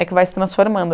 É que vai se transformando.